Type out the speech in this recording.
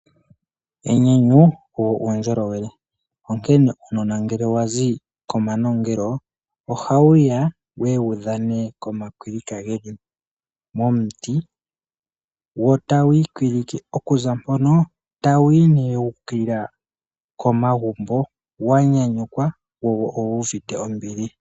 Enyanyu olwo uundjolowele, omuntu onkene uunone ngele wazi komanongelo ohawuya wuye wu dhane komakwilika geli momuti wo tawu ikwilike okuza mpono tawu yi wukilila komagumbo wa nyanyukwa wo owuvite ombili.